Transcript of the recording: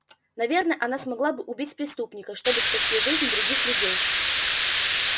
наверное она смогла бы убить преступника чтобы спасти жизнь других людей